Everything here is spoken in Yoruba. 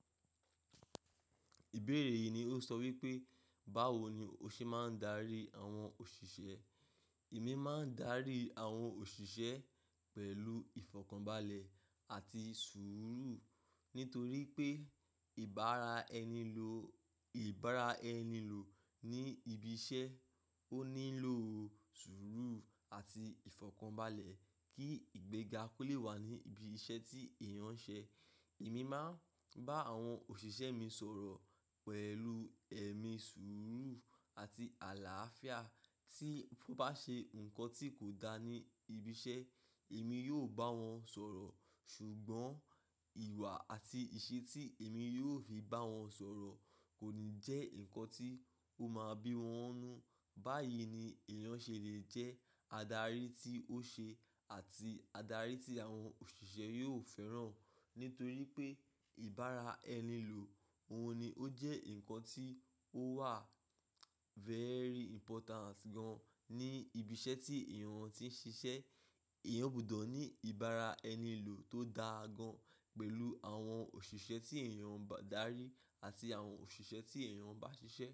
Ìbéèrè yìí ni ó sọ wípé, báwo ni o ṣe máa ń darí àwọn òṣìṣẹ́? Èmi máa ń darí àwọn òṣìṣẹ́ pẹ̀lú ìfọ̀kànbalẹ̀ àti sùúrù. Nítorí pé ìbára ẹni lò, ìbára ẹni lò ní ibi iṣẹ́, ó nílò sùúrù àti ìfọ̀kànbalẹ̀ kí ìgbẹ́ga kó lè wà ní ibi iṣẹ́ tí èèyàn ń ṣe. Èmi máa ń bá àwọn òṣìṣẹ́ mi sọ̀rọ̀ pẹ̀lú ẹ̀mí sùúrù àti àlàáfíà. Tí ó bá ṣe nǹkan tí kò dáa ní ibi iṣẹ́, èmi yóò bá wọn sọ̀rọ̀. Ṣùgbọ́n ìwà àti ìṣe tí èmi yóò fi bá wọn sọ̀rọ̀ kò ní jẹ́ ǹkan tí ó máa bí wọn nu. Báyìí ni èèyàn ṣe lè jẹ́ adarí tí ó ṣe àti adarí tí àwọn òṣìṣẹ́ yóò fẹ́ràn. Nítorí pé ìbára ẹni lò, òun ni ó jẹ́ ǹkan tí ó wà very important gan ní ibi iṣẹ́ tí èèyàn ti ń ṣiṣẹ́. Èèyàn gbọdọ̀ ní ìbára ẹni lò tó dáa gan pẹ̀lú àwọn òṣìṣẹ́ tí èèyàn bá darí àti àwọn òṣìṣẹ́ tí èèyàn bá ṣiṣẹ́.